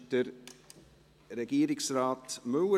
Wünscht Regierungsrat Müller